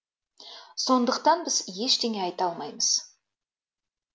сондықтан біз ештеңе айта алмаймыз